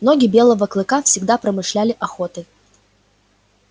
боги белого клыка всегда промышляли охотой